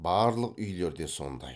барлық үйлер де сондай